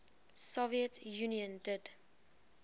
soviet union did